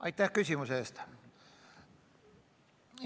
Aitäh küsimuse eest!